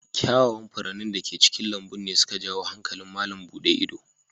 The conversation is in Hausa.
Kyawawan furannin da ke cikin lambun ne su ka jawo hankalin malam buɗe ido.